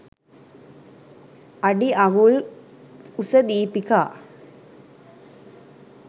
අඩිඅඟුල් ක් උස දීපිකා